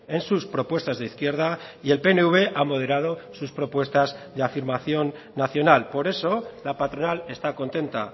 en sus propuestas de izquierda y el pnv ha moderado sus propuestas de afirmación nacional por eso la patronal está contenta